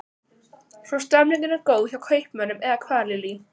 Svo stemningin er góð hjá kaupmönnum eða hvað Lillý?